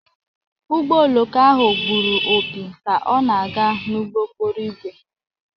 Ụgbọ oloko ahụ gburu opi ka ọ na-aga n'ụgbọ okporo ígwè..